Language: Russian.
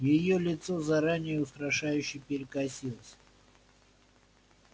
её лицо заранее устрашающе перекосилось